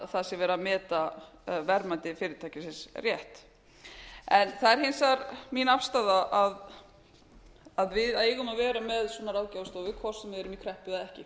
að það sé verið að meta verðmæti fyrirtækisins rétt það er hins vegar mín afstaða að við eigum að vera með svona ráðgjafarstofu hvort sem við erum í kreppu eða ekki